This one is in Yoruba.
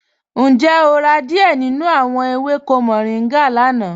Ǹjẹ́ o rà díẹ̀ nínú awọn èwékò mòrìngá lána?